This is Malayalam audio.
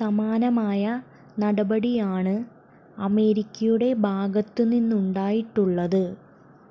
സമാനമായ നടപടിയാണ് അമേരിക്കയുടെ ഭാഗത്തുനിന്നുണ്ടായിട്ടുള്ളത്